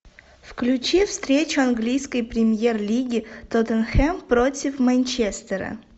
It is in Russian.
включи встречу английской премьер лиги тоттенхэм против манчестера